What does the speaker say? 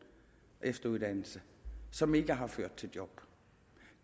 efteruddannelse som ikke har ført til job